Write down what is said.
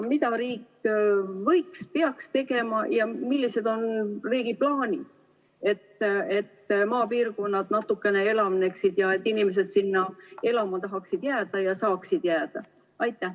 Mida riik võiks teha ja peaks tegema, et maapiirkonnad natukene elavneksid ning inimesed sinna elama tahaksid jääda ja saaksid jääda?